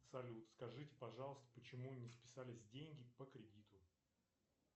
салют скажите пожалуйста почему не списались деньги по кредиту